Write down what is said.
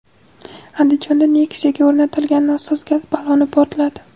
Andijonda Nexia’ga o‘rnatilgan nosoz gaz balloni portladi.